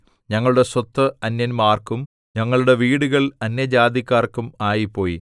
ഞങ്ങളുടെ സ്വത്ത് അന്യന്മാർക്കും ഞങ്ങളുടെ വീടുകൾ അന്യജാതിക്കാർക്കും ആയിപ്പോയി